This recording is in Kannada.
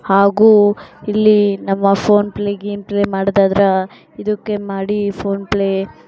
ಹಾಗು ಇಲ್ಲಿ ನಮ್ಮ ಫೋನಿಗೆ ಮಾಡಿದಾದ್ರ ಇದಕ್ಕೆ ಮಾಡಿ ಫೋನ್ ಪ್ಲೇ --